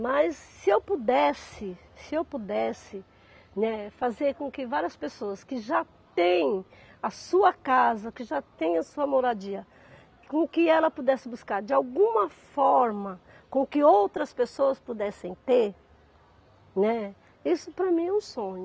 Mas se eu pudesse, se eu pudesse, né, fazer com que várias pessoas que já têm a sua casa, que já têm a sua moradia, com que ela pudesse buscar de alguma forma, com que outras pessoas pudessem ter, né, isso para mim é um sonho.